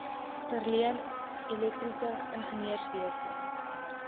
verleen elektriese ingenieurswese